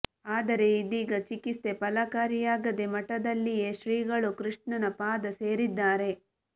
ಆದರೆ ಇದೀಗ ಚಿಕಿತ್ಸೆ ಫಲಕಾರಿಯಾಗದೇ ಮಠದಲ್ಲಿಯೇ ಶ್ರೀಗಳು ಕೃಷ್ಣನ ಪಾದ ಸೇರಿದ್ದಾರೆ